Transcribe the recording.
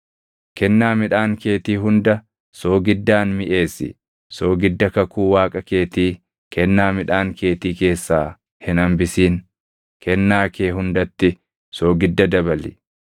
Kennaa midhaan keetii hunda soogiddaan miʼeessi; soogidda kakuu Waaqa keetii kennaa midhaan keetii keessaa hin hambisin; kennaa kee hundatti soogidda dabali.